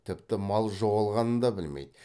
тіпті мал жоғалғанын да білмейді